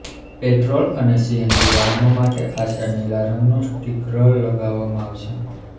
petrol અને CNG વાહનો માટે આછા નીલા રંગનું સ્ટીકરલ લગાવવામાં આવશે